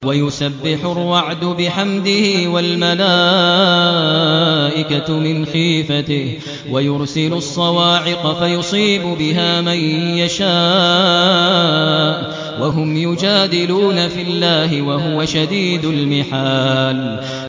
وَيُسَبِّحُ الرَّعْدُ بِحَمْدِهِ وَالْمَلَائِكَةُ مِنْ خِيفَتِهِ وَيُرْسِلُ الصَّوَاعِقَ فَيُصِيبُ بِهَا مَن يَشَاءُ وَهُمْ يُجَادِلُونَ فِي اللَّهِ وَهُوَ شَدِيدُ الْمِحَالِ